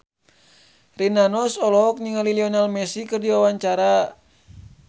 Rina Nose olohok ningali Lionel Messi keur diwawancara